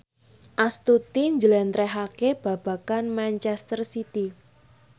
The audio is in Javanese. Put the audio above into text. Astuti njlentrehake babagan manchester city